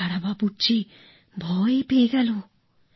বেচারা বাবুর্চি ভয় পেয়ে গেল